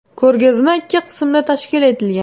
Ko‘rgazma ikki qismda tashkil etilgan.